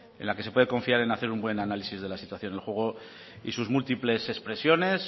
en la que se puede confiar en hacer un buen análisis de la situación el juego y sus múltiples expresiones